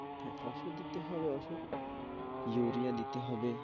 হ্যাঁ ঔষুধ দিতে হবে ঔষধ, ইউরিয়া নিতে হবে।